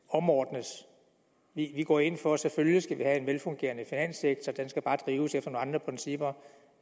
omordnes vi går ind for at vi selvfølgelig skal have en velfungerende finanssektor den skal bare drives efter nogle andre principper